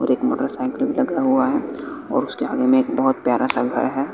और एक मोटरसाइकिल रखा हुआ है और उसके आगे में एक बहोत प्यारा सा घर है।